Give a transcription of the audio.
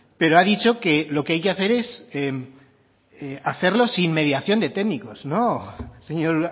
pero ha dicho que lo que hay que hacer es hacerlo sin mediación de técnicos no señor